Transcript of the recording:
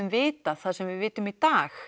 vitað það sem við vitum í dag